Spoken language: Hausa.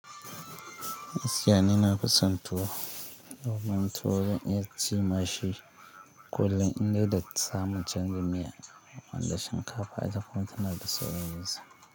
Gaskiya ni nafi son tuwo, tuwo zan yi ci mashi kullum in dai da samun canji miya, wanda shinkafa ita kwance na da sauƙin yi sa.